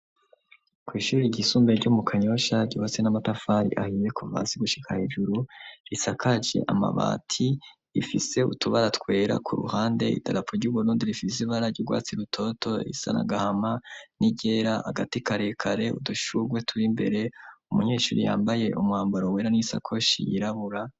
Ko'ishuri ry'isumbe ryo mu kanyosha ryhose n'amatafari ahiye ku vasi gushika hejuru risakaje amabati ifise utubara twera ku ruhande idalapu ry'ugonodi rifisi ibara ry'urwatsi rutoto isanagahama n'igera hagati karekare udushurwe turi mbere umunyeshuri yambaye umuwamburo wera n'insako shi yirabura.